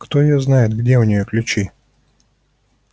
кто её знает где у неё ключи